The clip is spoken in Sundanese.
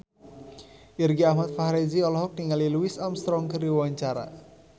Irgi Ahmad Fahrezi olohok ningali Louis Armstrong keur diwawancara